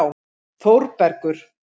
Þórbergur